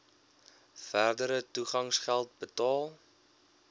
verdere toegangsgeld betaal